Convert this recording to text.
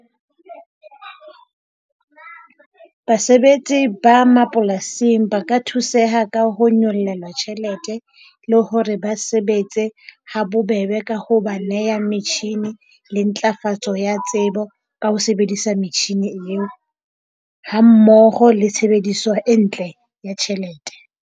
Basebetsi ba mapolasing ba ka thuseha ka ho nyollelwa tjhelete. Le hore ba sebetse ha bobebe ka ho ba neha machine le ntlafatso ya tsebo ka ho sebedisa metjhini eo, ha mmoho le tshebediso e ntle ya tjhelete.